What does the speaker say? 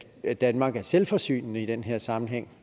at danmark er selvforsynende i den her sammenhæng